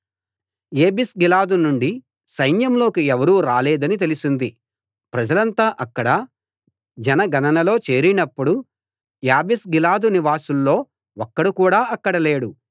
యాబేష్గిలాదునుండి సైన్యంలోకి ఎవరూ రాలేదని తెలిసింది ప్రజలంతా అక్కడ జన గణనలో చేరినప్పుడు యాబేష్గిలాదు నివాసుల్లో ఒక్కడు కూడా అక్కడ లేడు